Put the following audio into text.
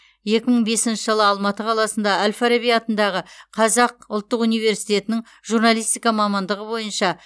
екі мың бесінші жылы алматы қаласында әл фараби атындағы қаз ұлттық университетінің журналистика мамандығы бойынша